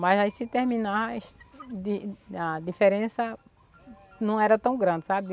Mas aí se terminar, de a diferença não era tão grande, sabe?